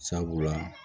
Sabula